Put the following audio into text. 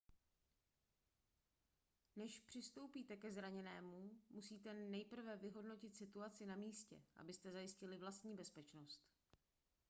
než přistoupíte ke zraněnému musíte nejprve vyhodnotit situaci na místě abyste zajistili vlastní bezpečnost